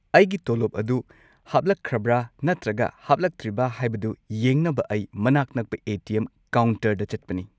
ꯑꯩꯒꯤ ꯇꯣꯂꯣꯞ ꯑꯗꯨ ꯍꯥꯞꯂꯛꯈ꯭ꯔꯕ꯭ꯔ ꯅꯠꯇ꯭ꯔꯒ ꯍꯥꯞꯂꯛꯇ꯭ꯔꯤꯕ ꯍꯥꯏꯕꯗꯨ ꯌꯦꯡꯅꯕ ꯑꯩ ꯃꯅꯥꯛ ꯅꯛꯄ ꯑꯦ. ꯇꯤ. ꯑꯦꯝ. ꯀꯥꯎꯟꯇꯔꯗ ꯆꯠꯄꯅꯤ꯫